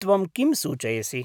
त्वं किं सूचयसि?